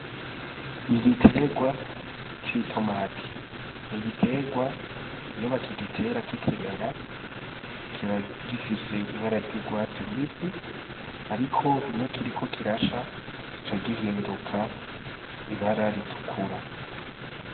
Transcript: Igiterwa c'i tomati ni igiterwa iyobakaigitera k'ikimera kiba gifise ibara ry'urwatsi rubisi, ariko iyo kiriko kirasha kica gihinduka ibara ritukura.